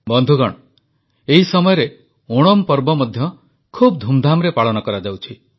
ବନ୍ଧୁଗଣ ଏହି ସମୟରେ ଓଣମ୍ ପର୍ବ ମଧ୍ୟ ଖୁବ ଧୁମଧାମରେ ପାଳନ କରାଯାଉଛି